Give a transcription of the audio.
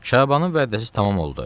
Şabanın vədəsi tamam oldu.